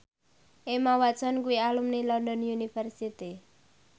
Emma Watson kuwi alumni London University